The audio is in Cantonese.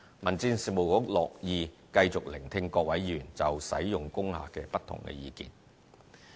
民政事務局樂意繼續聆聽各位議員就使用工廈的不同意見。